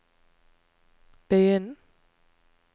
begynn